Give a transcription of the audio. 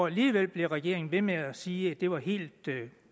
alligevel blev regeringen ved med at sige at det var helt